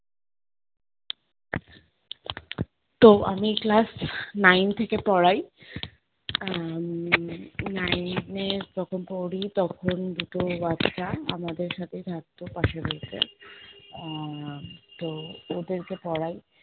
তো আমি class nine থেকে পড়াই। আহ উম nine এ যখন পড়ি তখন দুটো বাচ্চা আমাদের সাথেই থাকতো পাশের বাড়িতে আহ তো ওদেরকে পড়াই,